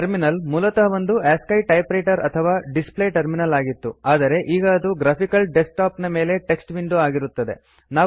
terminal ಮೂಲತಃ ಒಂದು ASCII typewriter ಅಥವಾ ಡಿಸ್ ಪ್ಲೇ ಟರ್ಮಿನಲ್ ಆಗಿತ್ತು ಆದರೆ ಈಗ ಅದು ಗ್ರಾಫಿಕಲ್ ಡೆಸ್ಕ್ ಟಾಪ್ ಮೇಲೆ ಟೆಕ್ಸ್ಟ್ ವಿಂಡೋ ಆಗಿರುತ್ತದೆ